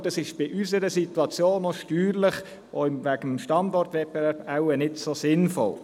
Dies ist in unserer Situation steuerlich und wegen des Standortwettbewerbs wohl nicht so sinnvoll.